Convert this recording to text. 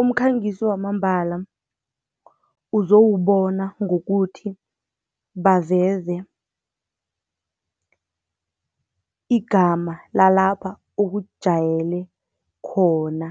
Umkhangiso wamambala uzowubona ngokuthi, baveze igama lalapha ukujayele khona